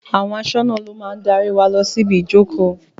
Àwọn aṣọ́nà lo máa darí wa lọ síbi ìjókòó